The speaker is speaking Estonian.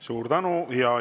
Suur tänu!